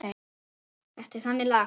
Þetta er þannig lag.